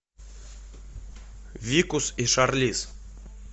викус и шарлиз